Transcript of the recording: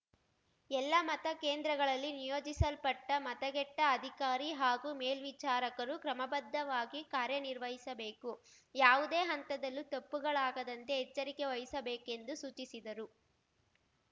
ಎಲ್ಲ ಮತ ಕೇಂದ್ರಗಳಲ್ಲಿ ನಿಯೋಜಿಸಲ್ಪಟ್ಟಮತಗೆಟ್ಟಅಧಿಕಾರಿ ಹಾಗೂ ಮೇಲ್ವಿಚಾರಕರು ಕ್ರಮಬದ್ಧವಾಗಿ ಕಾರ್ಯನಿರ್ವಹಿಸಬೇಕು ಯಾವುದೇ ಹಂತದಲ್ಲೂ ತಪ್ಪುಗಳಾಗದಂತೆ ಎಚ್ಚರಿಕೆ ವಹಿಸಬೇಕೆಂದು ಸೂಚಿಸಿದರು